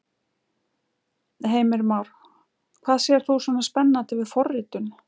Heimir Már: Hvað sérð þú svona spennandi við forritun?